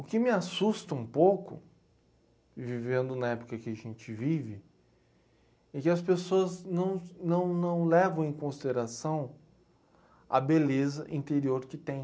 O que me assusta um pouco, vivendo na época que a gente vive, é que as pessoas não não não levam em consideração a beleza interior que têm.